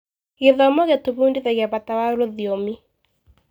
Gĩthomo gĩtũbundithagia bata wa rũthiomi.